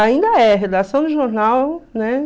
Ainda é. Redação de jornal, né?